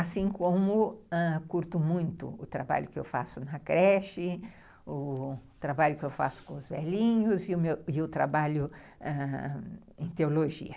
Assim como, ãh, curto muito o trabalho que eu faço na creche, o trabalho que eu faço com os velhinhos e o trabalho em teologia.